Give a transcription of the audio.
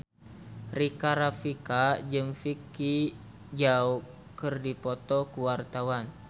Rika Rafika jeung Vicki Zao keur dipoto ku wartawan